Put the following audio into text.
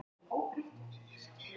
Lögregla hafnar þvingunum